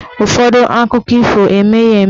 Ụfọdụ akụkọ ifo emeghị eme.